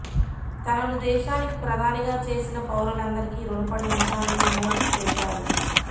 తనను దేశానికి ప్రధానిగా చేసిన పౌరులందరికీ రుణపడి ఉంటానని మోడీ తెలిపారు